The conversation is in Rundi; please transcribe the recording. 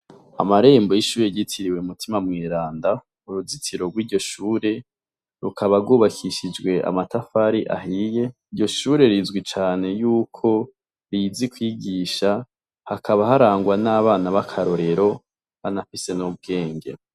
Amarembo y'ishure ryitiriwe mutima mweranda uruzitiro rwiryo shure rukaba rwubakishijwe amatafari ahiye, iryo shure rizwi cane yuko rizi kwigisha hakaba harangwa n'abana bakarorero banafise n'ubwenge.